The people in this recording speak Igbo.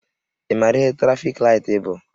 Ị maara ihe trafik laịtị bụ?